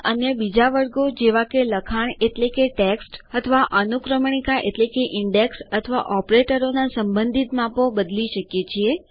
આપણે અન્ય બીજા વર્ગો જેવા કે લખાણ એટલેકે ટેક્સ્ટ અથવા અનુક્રમણિકા એટલેકે ઇન્ડેક્સ અથવા ઓપરેટરોના સંબંધિત માપો બદલી શકીએ